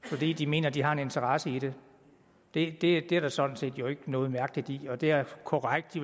fordi de mener de har en interesse i det det er der jo sådan set ikke noget mærkeligt i og det er korrekt at